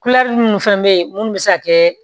minnu fana bɛ yen minnu bɛ se ka kɛ